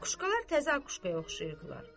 Akuşkalar təzə akuşkaya oxşayırdılar.